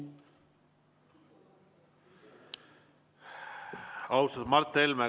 Austatud Mart Helme!